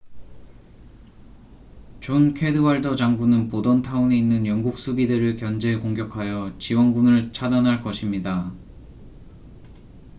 존 캐드왈더 장군은 보던타운에 있는 영국 수비대를 견제 공격하여 지원군을 차단할 것입니다